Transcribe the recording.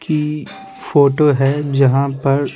की फोटो है जहाँ पर--